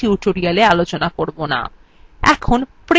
এখন print button click করুন